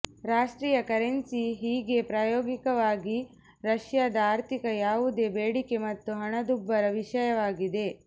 ರಾಷ್ಟ್ರೀಯ ಕರೆನ್ಸಿ ಹೀಗೆ ಪ್ರಾಯೋಗಿಕವಾಗಿ ರಷ್ಯಾದ ಆರ್ಥಿಕ ಯಾವುದೇ ಬೇಡಿಕೆ ಮತ್ತು ಹಣದುಬ್ಬರ ವಿಷಯವಾಗಿದೆ